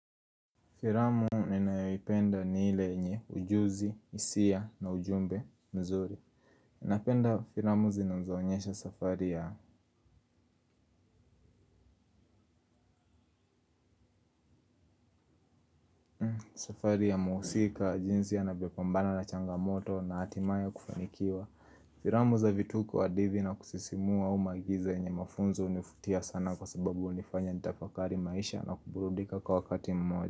Filamu ninayoipenda ni ile yenye ujuzi, hisia na ujumbe mzuri. Napenda filamu zinazo onyesha safari ya safari ya muhusika jinsi anavyopambana na changamoto na hatimaye kufanikiwa. Filamu za vituko hadithi na kusisimua au maigizo yenye mafunzo univutia sana kwa sababu hunifanya nitafakari maisha na kuburudika kwa wakati mmoja.